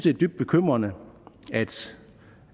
er dybt bekymrende